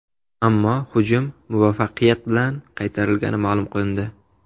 Ammo hujum muvaffaqiyat bilan qaytarilgani ma’lum qilindi.